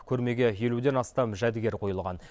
көрмеге елуден астам жәдігер қойылған